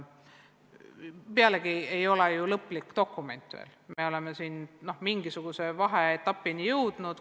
Meil ei ole ju veel lõplikku dokumenti, me oleme alles vaheetapini jõudnud.